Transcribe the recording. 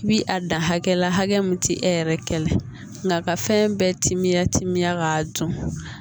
I bi a dan hakɛ la hakɛ min ti e yɛrɛ kɛlɛ la ka fɛn bɛɛ timiya timiya k'a dun